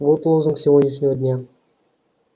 вот лозунг сегодняшнего дня